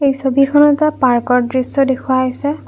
ছবিখনত এটা পাৰ্ক ৰ দৃশ্য দেখুওৱা হৈছে।